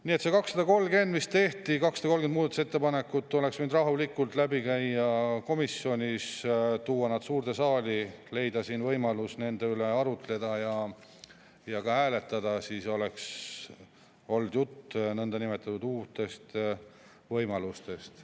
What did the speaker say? Nii et need 230 muudatusettepanekut, mis tehti, oleks võinud rahulikult komisjonist läbi lasta, tuua need suurde saali, leida siin võimalus nende üle arutleda ja ka hääletada, siis oleks olnud juttu nõndanimetatud uutest võimalustest.